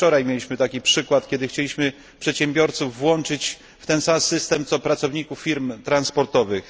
Wczoraj mieliśmy taki przykład, kiedy chcieliśmy włączyć przedsiębiorców w ten sam system co pracowników firm transportowych.